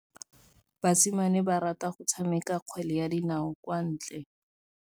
Basimane ba rata go tshameka kgwele ya dinaô kwa ntle.